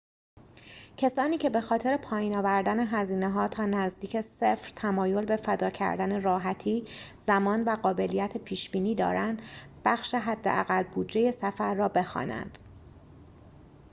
کسانی که بخاطر پایین آوردن هزینه‌ها تا نزدیک صفر تمایل به فدا کردن راحتی زمان و قابلیت پیش‌بینی دارند بخش حداقل بودجه سفر را بخوانند